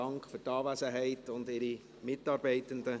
Dank für Ihre Anwesenheit und die Ihrer Mitarbeitenden.